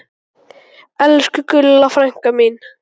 Elsku Gulla frænka mín.